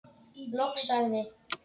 Loks sagði